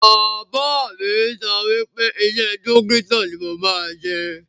Bàbá mi sọ wípé iṣẹ́ dókítà ni mo máa ṣe